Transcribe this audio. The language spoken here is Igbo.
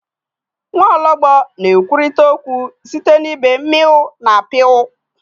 Nwaọlọgbọ na-ekwurịta okwu site na ịbe meow na purr